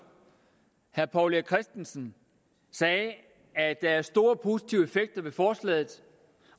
herre poul erik christensen sagde at der var store positive effekter ved forslaget